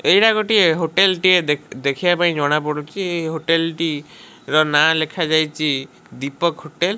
ଏଇଟା ଗୋଟିଏ ହୋଟେଲ ଟିଏ ଦେ ଦେଖିବା ପାଇଁ ଜଣା ପଡୁଛି ଏହି ହୋଟେଲ ଟି ର ନାଁ ଲେଖା ଯାଇଛି ଦୀପକ ହୋଟେଲ ।